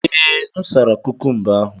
Ee, m sara kukumba ahụ.